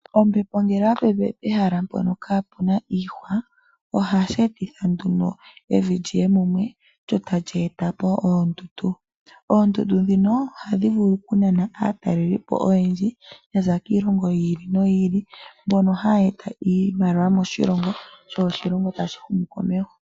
Ompepo ngele oya pepe pe hala mpono kaa puna iihwa, ohashi eta nduno evi liye mumwe, lyo tali e tapo oondundu. Oondundu ndhino ohadhi vulu oku nana aa taleli po oyendji yaza kiilongo yi ili noyi ili ,mbono haya eta iimaliwa moshilongo, sho oshilongo tashi humu ko meho.